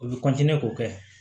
U bɛ k'o kɛ